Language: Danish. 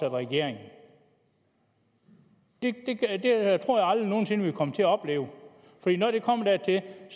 i regering det tror jeg aldrig nogen sinde vi vil komme til at opleve